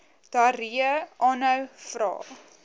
diarree aanhou vra